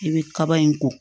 I bɛ kaba in kɔ